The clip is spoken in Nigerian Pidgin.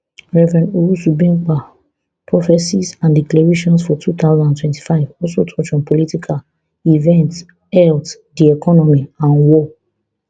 rev owusu bempah prophesies and declarations for two thousand and twenty-five also touch on political events health di economy and war